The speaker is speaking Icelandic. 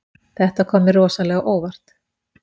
Þetta kom mér rosalega á óvart